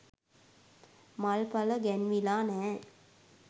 මල්ඵල ගැන්විලා නෑ.